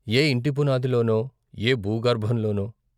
ఏ ఇంటి పునాదిలోనో! ఏ భూగర్భంలోనో!